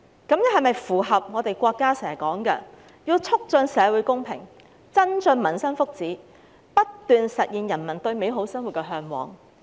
這樣是否符合國家經常說要"促進社會公平，增進民生福祉，不斷實現人民對美好生活的嚮往"？